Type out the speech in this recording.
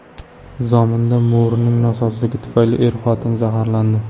Zominda mo‘rining nosozligi tufayli er-xotin zaharlandi.